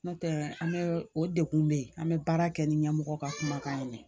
N'o tɛ an bɛ o dekun bɛ yen an bɛ baara kɛ ni ɲɛmɔgɔ ka kumakan ye